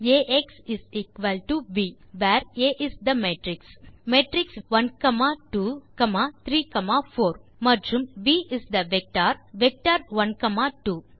ax v where A is the matrix matrix within brackets12 comma 34 மற்றும் v is the vector vector within brackets12